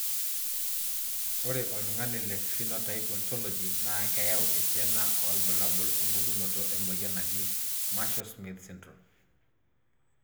Ore oltungani le Phenotype Ontology na keyau esiana olbulabul opukunoto emoyian naaji Marshall Smith syndrome.